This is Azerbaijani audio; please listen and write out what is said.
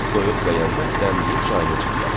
Soyuq dəyəndə dəmləyib çayını içirlər.